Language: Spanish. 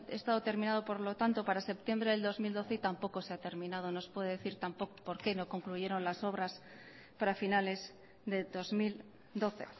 estado terminado por lo tanto para septiembre del dos mil doce y tampoco se ha terminado nos puede decir tampoco por qué no concluyeron las obras para finales de dos mil doce